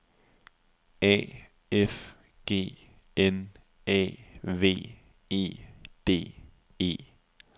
A F G N A V E D E